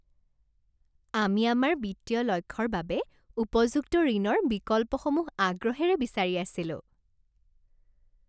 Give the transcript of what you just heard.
আমি আমাৰ বিত্তীয় লক্ষ্যৰ বাবে উপযুক্ত ঋণৰ বিকল্পসমূহ আগ্ৰহেৰে বিচাৰি আছিলোঁ।